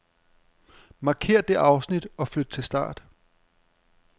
Markér dette afsnit og flyt til start.